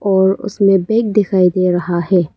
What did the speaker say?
और उसमें दिखाई दे रहा है।